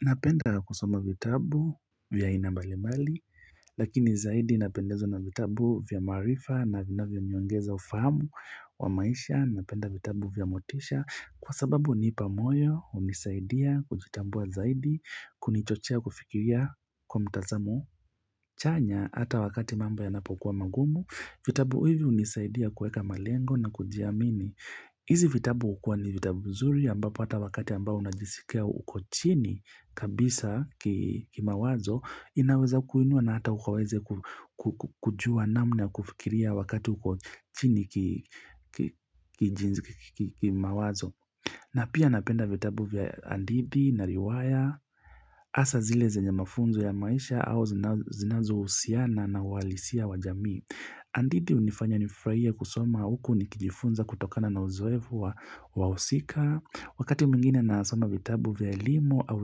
Napenda kusoma vitabu vya ina mbalimali, lakini zaidi napendezo na vitabu vya marifa na vina vya nyongeza ufamu wa maisha, napenda vitabu vya motisha kwa sababu ni ipamoyo unisaidia kujitambua zaidi kunichochia kufikiria kwa mtazamu chanya hata wakati mamba ya napokuwa magumu, vitabu hivi unisaidia kueka malengo na kujiamini. Izi vitabu ukua ni vitabu mzuri amba pata wakati amba unajisikea uko chini kabisa ki mawazo inaweza kuinua na hata ukawaze kujua namna kufikiria wakati uko chini ki mawazo. Na pia napenda vitabu vya andidi, na riwaya, asa zile zenye mafunzo ya maisha au zinazo husiana na walisia wajamii. Andidi unifanya nifraie kusoma huku ni kijifunza kutokana na uzoevu wa usika, wakati mingine nasoma vitabu vya elimu au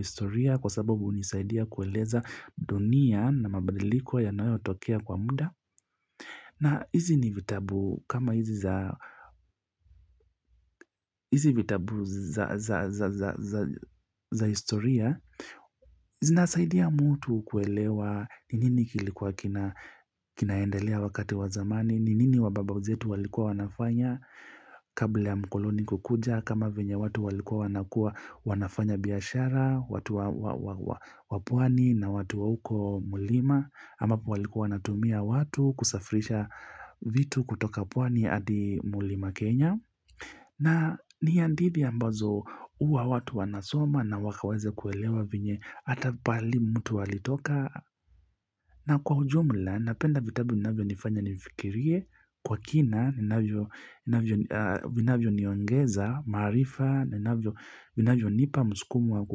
historia kwa sababu unisaidia kueleza dunia na mabadiliko yanayotokea kwa muda. Na hizi ni vitabu kama hizi vitabu za historia, hizi nasaidia mtu kuelewa ni nini kilikuwa kinaendelea wakati wa zamani, ni nini wabababuzetu walikua wanafanya kabla ya mkoloni kukuja kama venya watu walikua wanafanya biyashara, watu wapwani na watu wa uko mulima ambapo walikuwa wanatumia watu kusafirisha vitu kutoka pwani adi mulima Kenya na nihandithi ambazo huwa watu wanasoma na wakaweze kuelewa venye Hata pahali mtu alitoka na kwa hujumla napenda vitabu minavyo nifanya nifikirie Kwa kina, minavyo niongeza, marifa, minavyo nipa, muskumu wa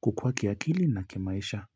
kukua kiakili na kimaisha.